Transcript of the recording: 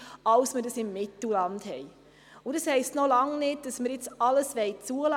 Das heisst aber noch lange nicht, dass wir alles bewilligen wollen.